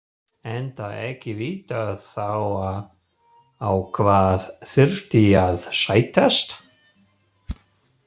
Enda ekki vitað þá á hvað þyrfti að sættast.